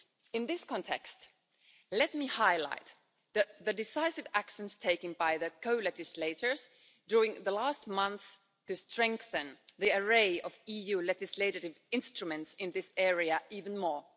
In this context, let me highlight the decisive actions taken by the co-legislators over the last few months to strengthen the array of EU legislative instruments in this area even more.